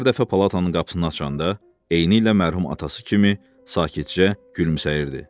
Hər dəfə palatanın qapısını açanda, eynilə mərhum atası kimi sakitcə gülümsəyirdi.